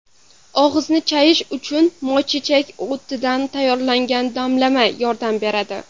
Og‘izni chayish uchun moychechak o‘tidan tayyorlangan damlama yordam beradi.